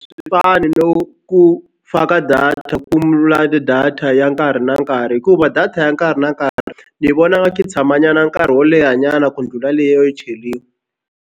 Swi fani no ku faka data ku data ya nkarhi na nkarhi hikuva data ya nkarhi na nkarhi ni vona nga ku tshama nyana nkarhi wo leha nyana ku ndlhula liya yo cheriwa.